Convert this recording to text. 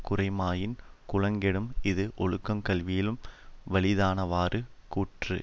குறையுமாயின் குலங்கெடும் இஃது ஒழுக்கம் கல்வியிலும் வலிதானவாறு கூற்று